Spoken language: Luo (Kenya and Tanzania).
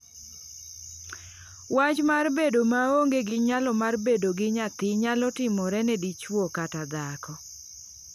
Wach mar bedo maonge gi nyalo mar bedo gi nyathi nyalo timore ne dichuo kata dhako.”